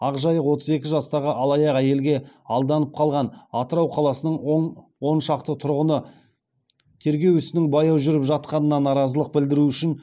ақ жайық отыз екі жастағы алаяқ әйелге алданып қалған атырау қаласының он шақты тұрғыны тергеу ісінің баяу жүріп жатқанына наразылық білдіру үшін